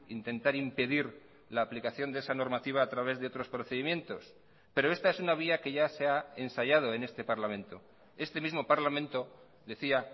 intentar impedir la aplicación de esa normativa a través de otros procedimientos pero esta es una vía que ya se ha ensayado en este parlamento este mismo parlamento decía